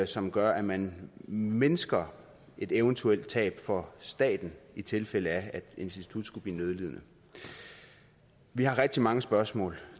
som gør at man mindsker et eventuelt tab for staten i tilfælde af at et institut skulle blive nødlidende vi har rigtig mange spørgsmål